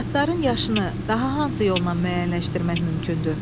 Atların yaşını daha hansı yolla müəyyənləşdirmək mümkündür?